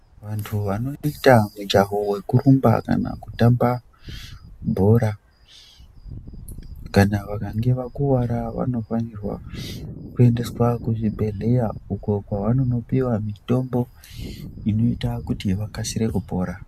Vantu vanoita mujaho wekurumba kana kutamba bhora kana vakange vakuwara vanofanirwa kuendeswa kuzvibhedhlera uko kwavanonopiwa mitombo inoita kuti vakasire kupora.